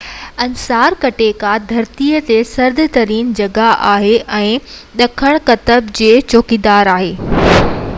Antarctica ڌرتيءَ تي سرد ترين جڳھ آھي ۽ ڏکڻ قطب جي چوگرد آھي